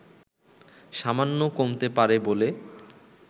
সামান্য কমতে পারে বলে